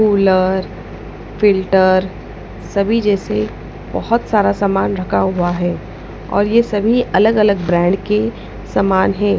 Cooler filter सभी जैसे बहुत सारा सामान रखा हुआ है और ये सभी अलग-अलग ब्रांड के समान है।